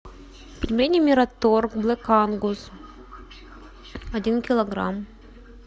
пельмени мираторг блэк ангус один килограмм